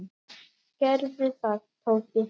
Gerðu það, Tóti.